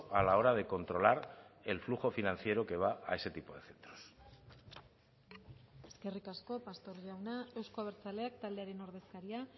a la hora de controlar el flujo financiero que va a ese tipo de centros eskerrik asko pastor jauna euzko abertzaleak taldearen ordezkaria